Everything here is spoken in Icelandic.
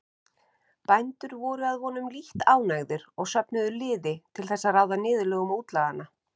Bændur voru að vonum lítt ánægðir og söfnuðu liði til þess að ráða niðurlögum útlaganna.